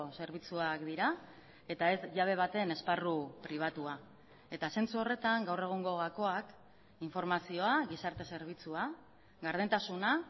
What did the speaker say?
zerbitzuak dira eta ez jabe baten esparru pribatua eta zentzu horretan gaur egungo gakoak informazioa gizarte zerbitzua gardentasuna